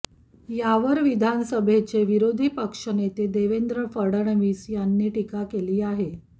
यावर विधानसभेचे विरोधी पक्षनेते देवेंद्र फडणवीस यांनी टीका केली आहे